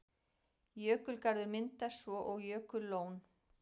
Jökulgarður myndast svo og jökullón.